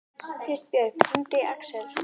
Kristbjörg, hringdu í Aksel.